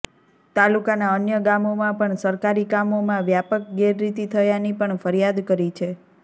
તાલુકાના અન્ય ગામોમા પણ સરકારી કામોમાં વ્યાપક ગેરરીતિ થયાની પણ ફરિયાદ કરી છે